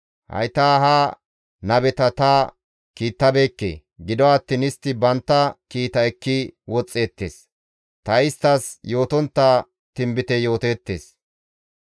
Hayta ha nabeta ta kiittabeekke; gido attiin istti bantta kiita ekki woxxeettes; ta isttas yootontta tinbite yooteettes.